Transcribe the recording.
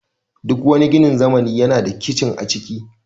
Duk wani ginin zamani yana da kicin a ciki